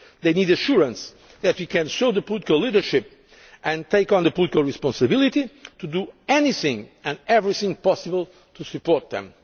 burden. They need assurance that we can show political leadership and take on the political responsibility to do anything and everything possible to support